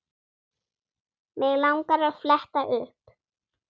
Mig langar að fletta upp.